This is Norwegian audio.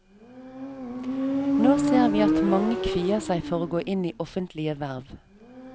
Nå ser vi at mange kvier seg for å gå inn i offentlige verv.